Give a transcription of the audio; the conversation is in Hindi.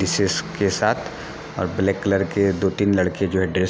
डिशेस के साथ और ब्लेक कलर के दो तिन लड़के जो है ड्रेस --